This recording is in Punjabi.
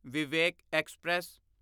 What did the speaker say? ਵਿਵੇਕ ਐਕਸਪ੍ਰੈਸ